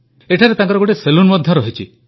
ଏଠାରେ ତାଙ୍କର ଗୋଟିଏ ସେଲୁନ୍ ମଧ୍ୟ ରହିଛି